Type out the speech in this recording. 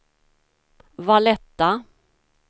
Valletta